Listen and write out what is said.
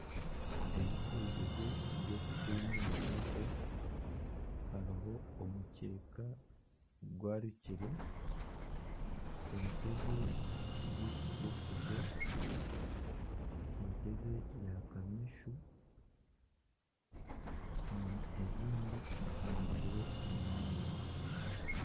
Ebikozirwe by'okuhuumuriraho, hariho omukyeka gwarikire, entebe y'okishekuzo, entebe ya kameesu, ebindi bihanikire omu mwanya